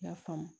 I y'a faamu